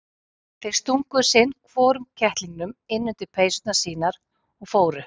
Þeir stungu sinn hvorum kettlingnum inn undir peysurnar sínar og fóru.